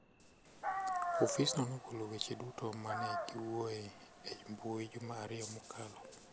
Ofisno nogolo weche duto ma ne giwuoye e mbui juma ariyo mokalo.